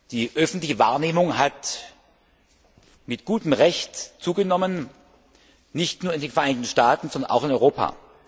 Die öffentliche Wahrnehmung hat mit gutem Recht zugenommen nicht nur in den Vereinigten Staaten, sondern auch in Europa.